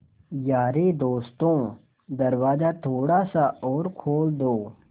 यारे दोस्तों दरवाज़ा थोड़ा सा और खोल दो